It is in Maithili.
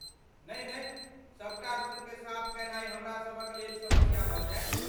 नहि नहि, सबटा रुमकेँ साफ कयनाय हमरासभक लेल समस्या भऽ जायत!